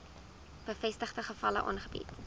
bevestigde gevalle aangebied